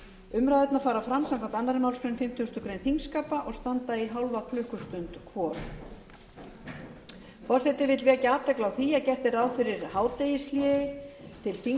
umræðurnar fara fram samkvæmt annarri málsgrein fimmtugustu grein þingskapa og standa í hálfa klukkustund hvor forseti vill vekja athygli á því að gert er ráð fyrir hádegishléi til þingflokksfunda milli klukkan tólf og þrettán